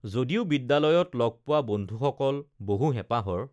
যদিও বিদ্যালয়ত লগপো‌ৱা বন্ধুসকল বহু হেঁপাহৰ